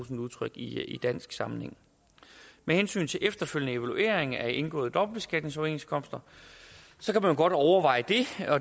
udtryk i dansk sammenhæng med hensyn til efterfølgende evaluering af indgåede dobbeltbeskatningsoverenskomster kan man godt overveje det